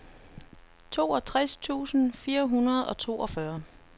toogtres tusind fire hundrede og toogfyrre